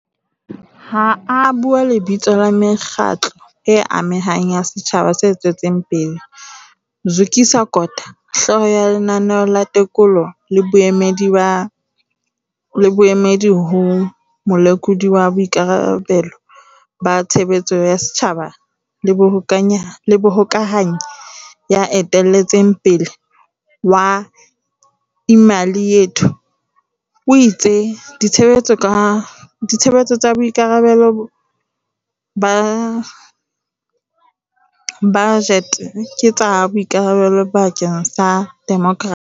Ha a bua lebitsong la mekgatlo e amehang ya setjhaba se tswetseng pele, Zukiswa Kota, hlooho ya Lenaneo la Tekolo le Boemedi ho Molekodi wa Boikarabelo ba Tshebeletso ya Setjhaba le mohokahanyi ya eteletseng pele wa Imali Yethu, o itse ditshebetso tsa boikarabe lo ba bajete ke tsa boikarabelo bakeng sa demokrasi.